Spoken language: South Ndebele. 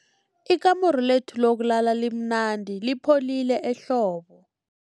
Ikamuru lethu lokulala limnandi lipholile ehlobo.